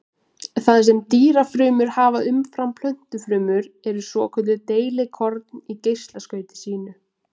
Það sem dýrafrumur hafa umfram plöntufrumur eru svokölluð deilikorn í geislaskauti sínu.